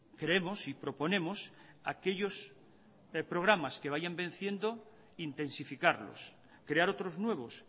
creemos y proponemos aquellos programas que vayan venciendo intensificarlos crear otros nuevos